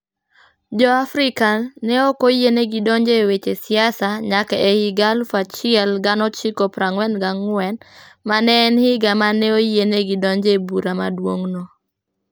Jo-Afrika ne ok oyienegi donjo e weche siasa nyaka e higa 1944, ma ne en higa ma ne oyienegi donjo e Bura Maduong'no.